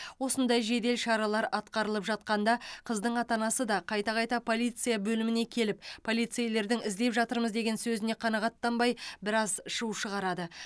осындай жедел шаралар атқарылып жатқанда қыздың ата анасы да қайта қайта полиция бөліміне келіп полицейлердің іздеп жатырмыз деген сөзіне қанағаттанбай біраз шу шығарады